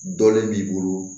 Dɔlen b'i bolo